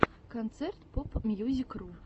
концерт попмьюзикру